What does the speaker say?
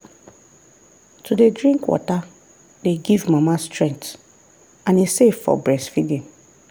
to dey drink water dey give mama strength and e safe for breastfeeding.